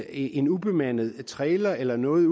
en ubemandet trailer eller noget